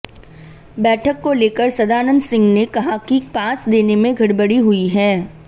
बैठक को लेकर सदानंद सिंह ने कहा कि पास देने में गड़बड़ी हुई है